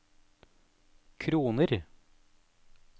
kroner